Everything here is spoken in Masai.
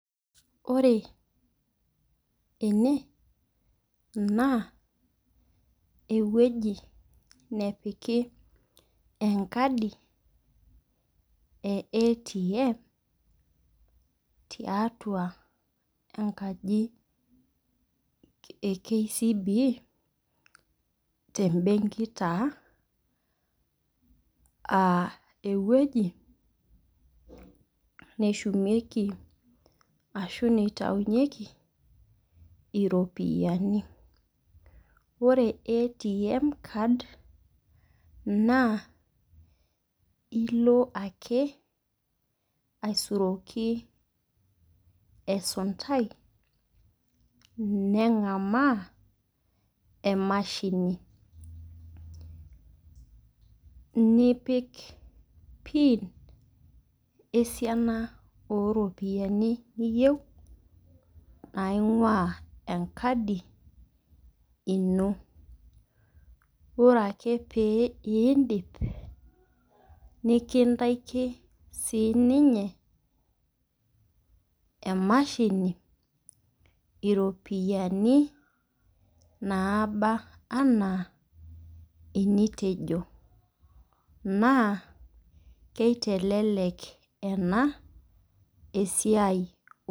Ore ene, naaa ewueji nepiki enkadi e ATM, tiatua enkaji e KCB tembenki ta aa ewueji neshumieki ashu neitainyeki iropiani. Ore ATM card naa ilo ake, aisuroki esuntai, neng'amaa emashini, nipik pin esian o iropiani niyou naing'ua enkadi ino. Ore ake pee indip, nekintaki siininye emashini iropiani nabaa ana enitejo, naa neitelelek ena esiai.